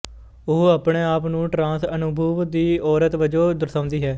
ਉਹ ਆਪਣੇ ਆਪ ਨੂੰ ਟਰਾਂਸ ਅਨੁਭਵ ਦੀ ਔਰਤ ਵਜੋਂ ਦਰਸਾਉਂਦੀ ਹੈ